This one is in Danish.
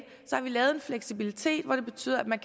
lavet en fleksibilitet hvor det betyder at man